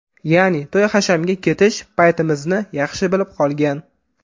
Ya’ni, to‘y-hashamga ketish paytimizni yaxshi bilib qolgan.